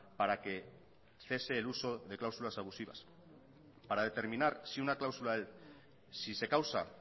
para que cese el uso de cláusulas abusivas para determinar si una cláusula si se causa